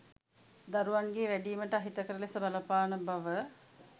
දරුවන්ගේ වැඩීමට අහිතකර ලෙස බලපාන බව